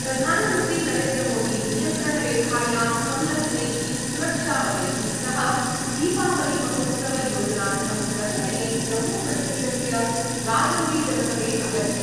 प्रधानमंत्री नरेन्द्रमोदी नियन्त्रणरेखायां संलग्नैः सुरक्षाबलैः सह दीपावलीमहोत्सवयोजनार्थं गतदिने जम्मूकश्मीरस्य राजौरीजनपदे अगच्छत्।